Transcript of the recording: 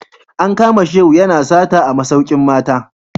An kama Shehu yana sata a masaukin mata